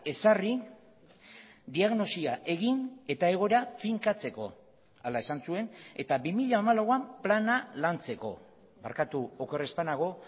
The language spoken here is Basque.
ezarri diagnosia egin eta egoera finkatzeko hala esan zuen eta bi mila hamalauan plana lantzeko barkatu oker ez banago